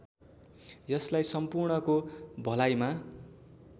यसलाई सम्पूर्णको भलाइमा